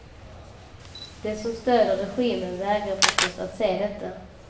De som stöder regimen vägrar förstås att se detta.